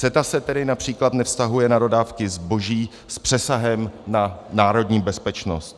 CETA se tedy například nevztahuje na dodávky zboží s přesahem na národní bezpečnost.